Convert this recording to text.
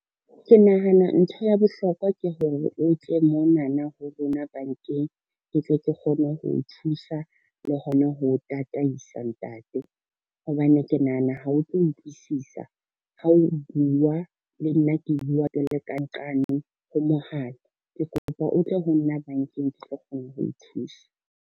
Ke nahana ntho ya bohlokwa ke hore o tle monana ho rona bankeng, ke tle ke kgone ho o thusa le hona ho tataisa ntate, hobane ke nahana ha o tlo utlwisisa ha o bua le nna ke bua re ka nqane ho mohala, ke kopa o tle ho nna bankeng, ke tlo kgona ho o thusa.